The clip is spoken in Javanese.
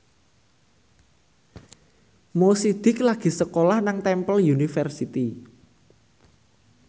Mo Sidik lagi sekolah nang Temple University